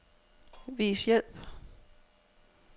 Vis hjælp.